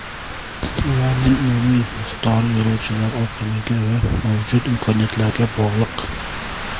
Ularning umumiy miqdori yo‘lovchilar oqimiga va mavjud imkoniyatlarga bog‘liq.